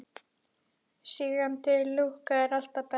Sígandi lukka er alltaf best.